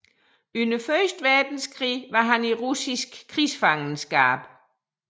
Under første verdenskrig var han i russisk krigsfangenskab